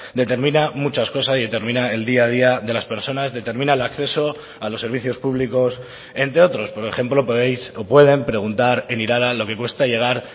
determina muchas cosas y determina el día a día de las personas determina el acceso a los servicios públicos entre otros por ejemplo podéis o pueden preguntar en irala lo que cuesta llegar